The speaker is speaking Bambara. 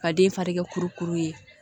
Ka den fari kɛ kuru kuru ye